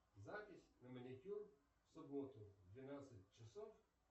запись на маникюр в субботу в двенадцать часов